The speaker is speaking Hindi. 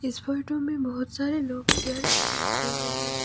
इस फोटो में बहुत सारे लोग चेयर पे बैठे हुए हैं।